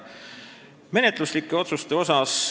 Nüüd menetluslikud otsused.